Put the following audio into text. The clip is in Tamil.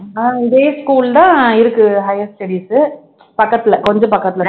அஹ் இதே school தான் இருக்கு higher studies பக்கத்துல கொஞ்ச பக்கத்துல